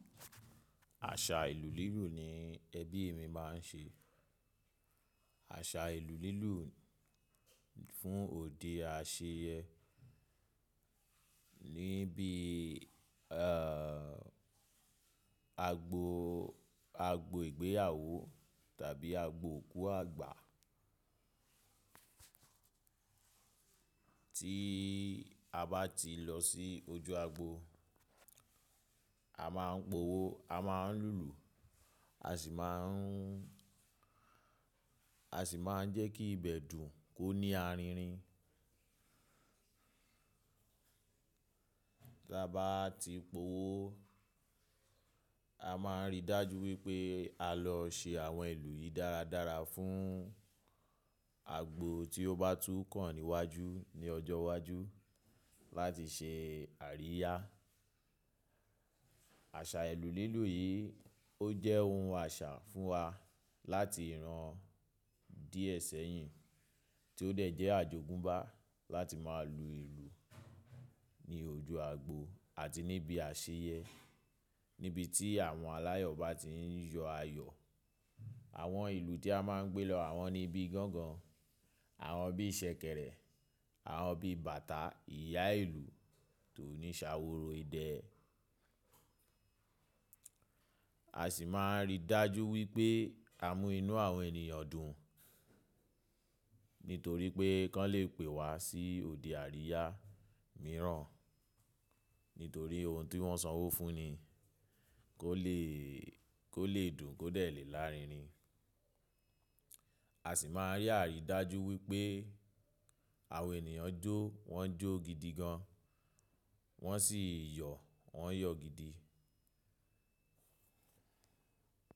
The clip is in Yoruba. Àṣà ìlù lílù ni ẹbí mi máa ń ṣe. Àṣà ìlù lílù fún òde àṣeyẹ níbí, ààh, agbo, agbo ìgbéyàwó tàbí agbo òkú àgbà. Tí a bá ti lọ sí ojú agbo, a máa ń pòwó, a máa ń lùlù, a sì máa ń, a sì máa ń jẹ́ kí ibẹ̀ dùn kó ní aririn. Tí a bá ti pòwó, a máa rí dájú wípé a lọ se àwọn ìlù yìí dáradára fún agbo tí ó bá tú kàn níwájú ní ọjọ́ iwájú láti ṣe àríyá. Àṣà ìlù lílù yìí ó jẹ́ ohun àṣà fún wa láti ìran díẹ̀ sẹ́yìn tí ó dẹ̀ jẹ́ àjogúnbá láti máa lu ìlù ní ojú agbo àti níbi àṣeyẹ níbi tí àwọn aláyọ̀ bá ti ń yọ ayọ̀. Àwọn ìlù tí a máa ń gbé lọ, àwọn ni ibi gángan, àwọn bí ìsẹ̀kẹ̀rẹ̀, àwọn bí bàtà, ìyá ìlù tó ní ṣàworo idẹ. A sì máa rí dájú wípé à mú inú àwọn ènìyàn dùn nítorí pé kan lè pè wa sí òde àríyá mìíràn nítorí ohun tí wọ́n sanwó fún ni kó le, kó le dùn kó dẹ̀ lè lárinrin. A sì máa rí àrí dájú wípé àwọn ènìyàn jó, wọ́n jó gidi gan, wọ́n sì yọ̀, wọ́n yọ̀ gidi.